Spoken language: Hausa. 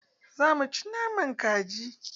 Za mu ci naman kaji.